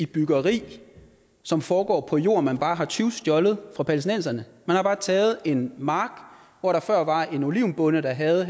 byggeri som foregår på jord man bare har tyvstjålet fra palæstinenserne man har bare taget en mark hvor der før var en olivenbonde der havde